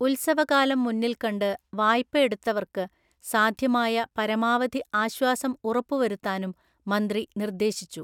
ഉത്സവകാലം മുന്നിൽക്കണ്ട് വായ്പഎടുത്തവർക്ക് സാധ്യമായ പരമാവധി ആശ്വാസം ഉറപ്പുവരുത്താനും മന്ത്രി നിർദ്ദേശിച്ചു.